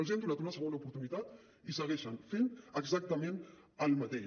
els hem donat una segona oportunitat i segueixen fent exactament el mateix